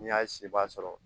N'i y'a sibaa sɔrɔ